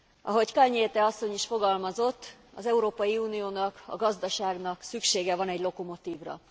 Ahogy Kalniete asszony is fogalmazott, az Európai Uniónak, a gazdaságnak szüksége van egy lokomotívra.